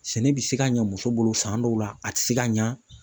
Sɛnɛ bɛ se ka ɲɛ muso bolo san dɔw la a tɛ se ka ɲɛ